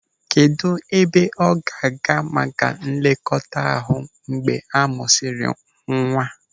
Kedụ ebe ọ ga-aga maka nlekọta ahụ mgbe a mụsịrị nwa?